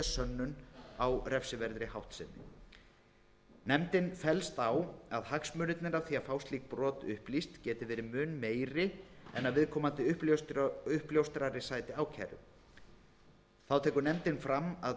sönnun á refsiverðri háttsemi nefndin fellst á að hagsmunirnir af því að fá slík brot upplýst geti verið mun meiri en að viðkomandi uppljóstrari sæti ákæru þá tekur nefndin fram að